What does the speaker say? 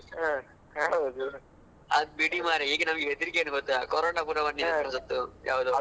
ಅದ್ ಬಿಡಿ ಮರೆ ಈಗ ಕೂಡ ನಮ್ಗೆ ಹೆದ್ರಿಕ್ಕೆ ಎನ್ ಗೊತ್ತಾ ಅದ್ ಬಿಡಿ ಮರೆ ಈಗ ಕೂಡ ನಮ್ಗೆ ಹೆದ್ರಿಕ್ಕೆ ಎನ್ ಗೊತ್ತಾ Corona ಪುನ ಬಂದಿರೂದು.